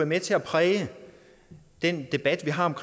med til at præge den debat vi har